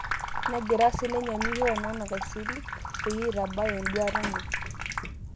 Negira sininye Miho Nonak asilig peyie eitabaya enduata enye